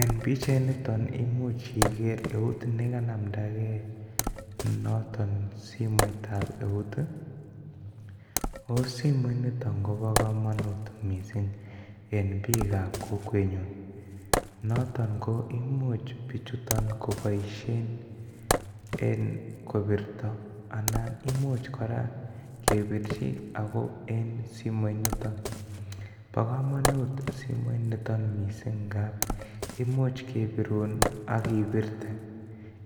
En pichait niton imuch Iger eut noton neganamdagen noton simoit tab eut ooh simoit niton Kobo komonut mising en bik gap Kokwenyun niton ko imuch bichuton koboishen en kobirto Alan imuch kora kebirchi ago en simoit niton bogomonut simoit niton misiing ngap imuch kebirun AK ibirte